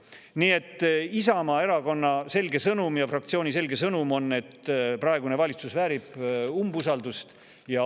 Nii et Isamaa Erakonna ja fraktsiooni selge sõnum on see, et praegune valitsus väärib umbusaldust.